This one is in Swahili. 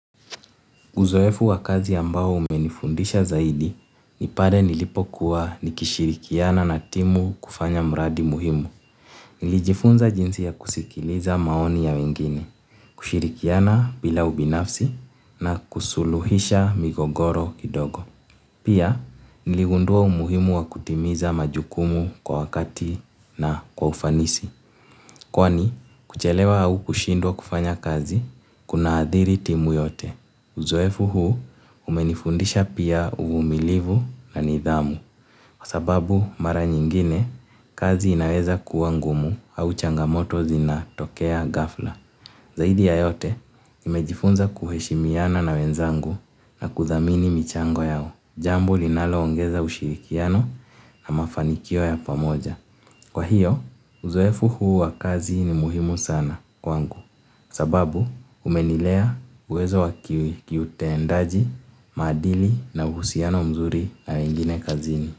Uzoefu wa kazi ambao umenifundisha zaidi, ni pale nilipokuwa nikishirikiana na timu kufanya mradi muhimu. Nilijifunza jinsi ya kusikiliza maoni ya wengine, kushirikiana bila ubinafsi na kusuluhisha migogoro kidogo. Pia, niligundua umuhimu wa kutimiza majukumu kwa wakati na kwa ufanisi. Kwani, kuchelewa au kushindwa kufanya kazi, kunaathiri timu yote. Uzoefu huu umenifundisha pia uvumilivu na nidhamu. Kwa sababu mara nyingine, kazi inaweza kuwa ngumu au changamoto zinatokea ghafla. Zaidi ya yote nimejifunza kuheshimiana na wenzangu na kuthamini michango yangu. Jambu linaloongeza ushirikiano na mafanikio ya pamoja. Kwa hiyo, uzoefu huu wa kazi ni muhimu sana kwangu. Sababu umenilea uwezo wa kiutendaji, maadili na uhusiano mzuri na mingine kazini.